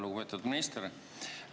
Lugupeetud minister!